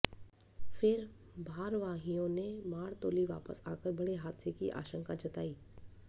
फिर भारवाहियों ने मारतोली वापस आकर बड़े हादसे की आशंका जताई